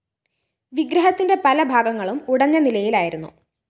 വിഗ്രത്തിന്റെ പല ഭാഗങ്ങളും ഉടഞ്ഞ നിലയിലായിരുന്നു